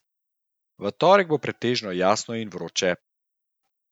V torek bo pretežno jasno in vroče.